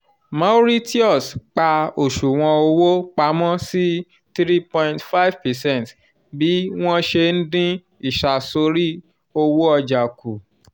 mauritius pa oṣuwọn owó pamọ́ sí three point five percent bí wọ́n ṣe ń dín ìsàsọ̀rí owó ọjà kù